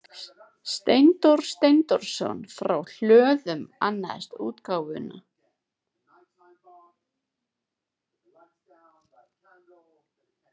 Steindór Steindórsson frá Hlöðum annaðist útgáfuna.